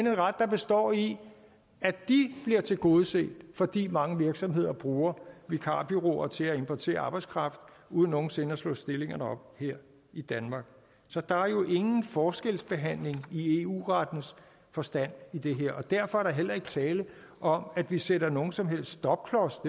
er en ret der består i at de bliver tilgodeset fordi mange virksomheder bruger vikarbureauer til at importere arbejdskraft uden nogen sinde at slå stillingerne op her i danmark så der er jo ingen forskelsbehandling i eu rettens forstand i det her og derfor er der heller ikke tale om at vi sætter nogen som helst stopklods op